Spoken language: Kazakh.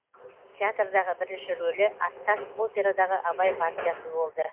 театрдағы бірінші рөлі аттас операдағы абай партиясы болды